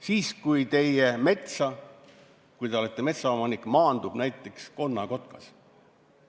Siis, kui teie metsa, kui te olete metsaomanik, maandub näiteks konnakotkas.